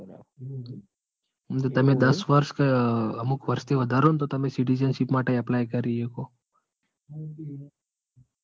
અને તમે દસ વર્ષે કે અમુક વર્ષે વધારો તો તમે citizenship માટે apply કરી એકો.